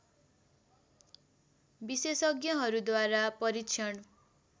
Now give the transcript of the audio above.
विशेषज्ञहरूद्वारा परीक्षण